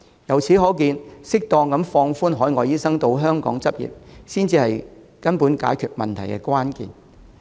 由此可見，適當放寬海外醫生到香港執業，才是解決根本問題的關鍵。